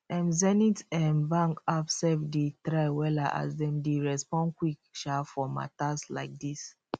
um zenith um bank app sef dey try wella as dem dey respond quick um for matas like dis